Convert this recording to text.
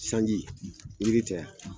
Sanji yiri tɛ a?